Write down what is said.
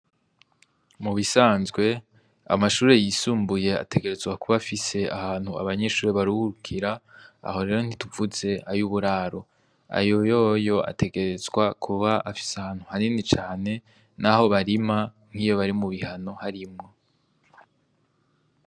Mu bisanzwe amashure y'isumbuye ategerezwa kuba afise ahantu abanyeshure baruhukira, aho rero ntituvuze ay'uburaro, ayo yoyo ategerezwa kuba afise ahantu hanini cane, naho barima nkiyo bari mu bihano harimwo.